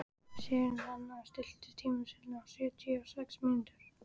Sigurnanna, stilltu tímamælinn á sjötíu og sex mínútur.